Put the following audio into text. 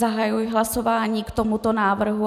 Zahajuji hlasování k tomuto návrhu.